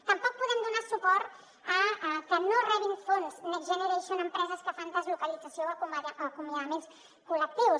tampoc podem donar suport a que no rebin fons next generation empreses que fan deslocalització o acomiadaments col·lectius